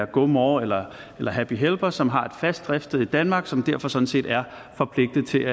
gomore eller happy helper som har et fast driftssted danmark og som derfor sådan set er forpligtet til